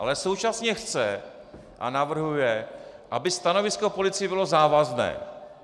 Ale současně chce a navrhuje, aby stanovisko policie bylo závazné.